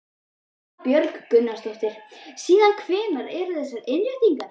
Erla Björg Gunnarsdóttir: Síðan hvenær eru þessar innréttingar?